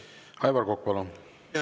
Aivar Kokk, palun!